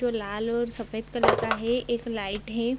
जो लाल और सफ़ेद कलर का है। एक लाइट है |